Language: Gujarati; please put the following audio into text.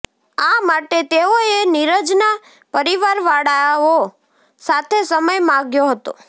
આ માટે તેઓએ નિરજના પરિવારવાળાઓ સાથે સમય માગ્યો હતો